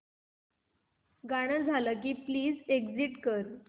गाणं झालं की प्लीज एग्झिट कर